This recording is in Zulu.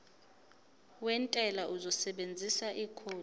wentela uzosebenzisa ikhodi